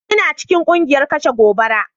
Ina cikin kungiyar kashe gobara.